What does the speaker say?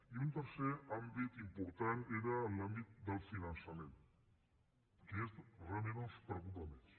i un tercer àmbit important era l’àmbit del finançament que és realment on ens preocupa més